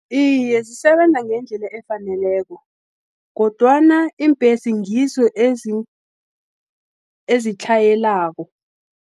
Iye, zisebenza ngendlela efaneleko, kodwana iimbhesi ngizo ezitlhayelako.